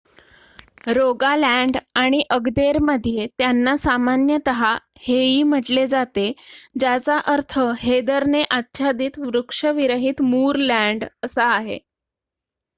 "Rogaland आणि अग्देरमध्ये त्यांना सामान्यतः "हेई" म्हटले जाते ज्याचा अर्थ हेदरने आच्छादित वृक्षविरहित मूरलँड असा आहे.